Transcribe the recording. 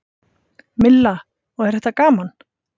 Milla: Og er þetta gaman?